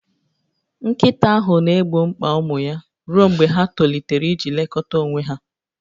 Nkịta ahụ na-egbo mkpa ụmụ ya ruo mgbe ha tolitere iji lekọta onwe ha